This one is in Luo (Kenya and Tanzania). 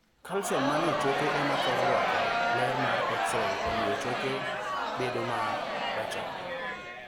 Calcium manie choke ema thoro rwako ler mar X ray, omiyo choke bedo ma rachar.